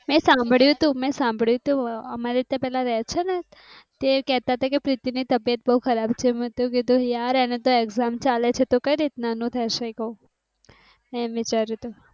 મેં સાંભળ્યું, તું મેં સાંભળ્યું હોય અમારે ત્યાં પેલા રેહ છેને તે કહેતા હતા કે પ્રીતિ ની તબિયત બહુ ખરાબ છે. મેતો કીધું યાર એની તો એક્ષામ ચાલે તો કઈ રીતના થયી ગયો એમ વિચાયરું તું